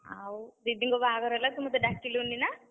ଆଉ, दीदी ଙ୍କ ବାହାଘର ହେଲା ତୁ ମତେ ଡାକିଲୁନି ନା?